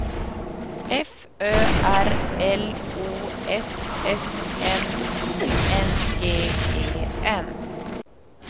F Ö R L O S S N I N G E N